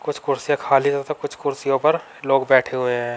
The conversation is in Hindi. कुछ कुर्सियां खाली तथा कुछ कुर्सियों पर लोग बैठे हुए हैं।